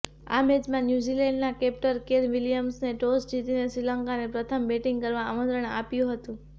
આ મેચમાં ન્યૂઝીલેન્ડના કેપ્ટન કેન વિલિયમસને ટોસ જીતીને શ્રીલંકાને પ્રથમ બેટિંગ કરવા આમંત્રણ આપ્યું હતું